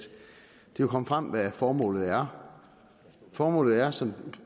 jo kom frem hvad formålet er formålet er som